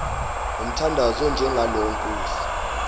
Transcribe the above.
ngomthandazo onjengalo nkosi